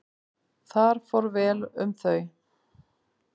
Þar fór vel um þau.